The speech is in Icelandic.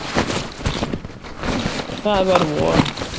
Það var von.